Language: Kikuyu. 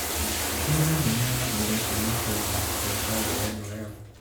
Nĩ thenema ya mbere kuma Kenya kũhota ngerenwa ĩyo